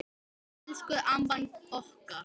Elsku amman okkar.